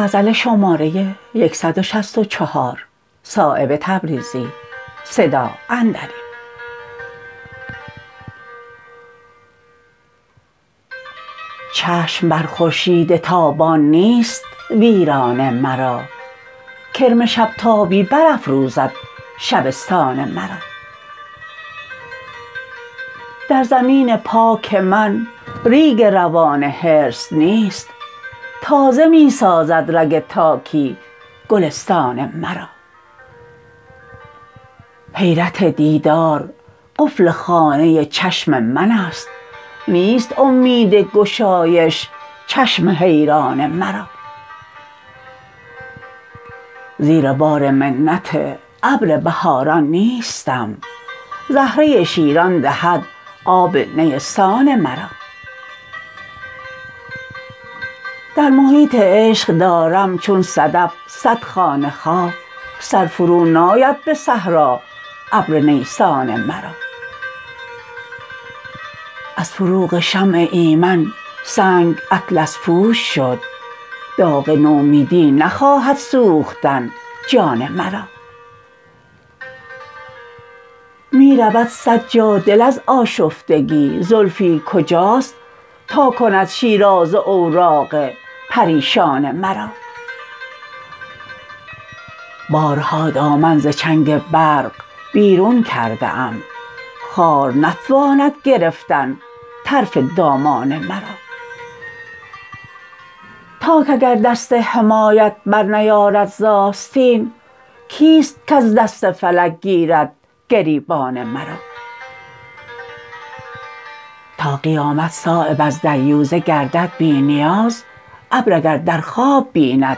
چشم بر خورشید تابان نیست ویران مرا کرم شب تابی برافروزد شبستان مرا در زمین پاک من ریگ روان حرص نیست تازه می سازد رگ تاکی گلستان مرا حیرت دیدار قفل خانه چشم من است نیست امید گشایش چشم حیران مرا زیر بار منت ابر بهاران نیستم زهره شیران دهد آب نیستان مرا در محیط عشق دارم چون صدف صد خانه خواه سر فرو ناید به صحرا ابر نیسان مرا از فروغ شمع ایمن سنگ اطلس پوش شد داغ نومیدی نخواهد سوختن جان مرا می رود صد جا دل از آشفتگی زلفی کجاست تا کند شیرازه اوراق پریشان مرا بارها دامن ز چنگ برق بیرون کرده ام خار نتواند گرفتن طرف دامان مرا تاک اگر دست حمایت برنیارد ز آستین کیست کز دست فلک گیرد گریبان مرا تا قیامت صایب از دریوزه گردد بی نیاز ابر اگر در خواب بیند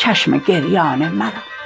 چشم گریان مرا